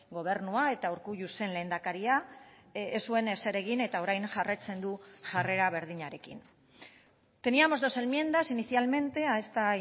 gobernua eta urkullu zen lehendakaria ez zuen ezer egin eta orain jarraitzen du jarrera berdinarekin teníamos dos enmiendas inicialmente a esta